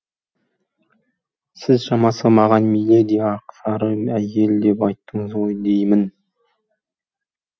сіз шамасы маған миледи ақсары әйел деп айттыңыз ғой деймін